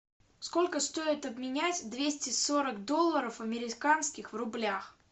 сколько стоит обменять двести сорок долларов американских в рублях